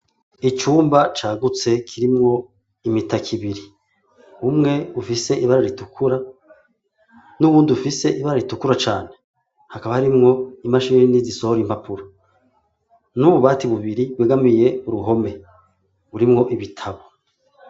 Icumba cagutse kirimwo imitaka ibiri umwe ufise ibara ritukura nuwundi ufise ibara ritukura cane hakaba harimwo imashini zisohora impapuro n'ububati bubiri bwegamiye uruhome burimwo ibitabo